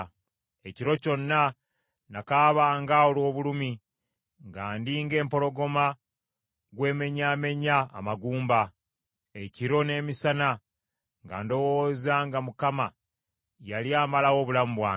Ekiro kyonna nakaabanga olw’obulumi nga ndi ng’empologoma gw’emmenyaamenya amagumba, ekiro n’emisana nga ndowooza nga Mukama yali amalawo obulamu bwange.